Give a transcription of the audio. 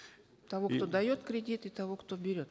того кто дает кредит и того кто берет